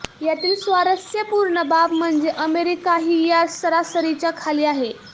यातील स्वारस्यपूर्ण बाब म्हणजे अमेरिकाही या सरासरीच्या खाली आहे